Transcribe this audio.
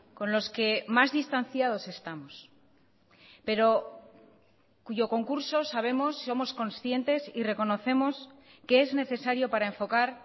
con los que más distanciados estamos pero cuyo concurso sabemos somos conscientes y reconocemos que es necesario para enfocar